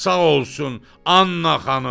Sağ olsun, Anna xanım.